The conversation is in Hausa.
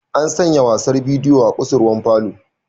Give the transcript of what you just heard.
An sanya wasan bidiyo a kusurwar falo.